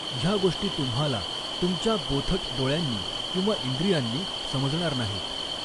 ह्या गोष्टी तुम्हाला तुमच्या बोथट डोळ्यांनी किंवा इंद्रियांनी समजणार नाहीत.